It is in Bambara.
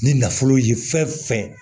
Ni nafolo ye fɛn fɛn ye